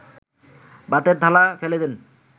ভাতের থালা ফেলে দেন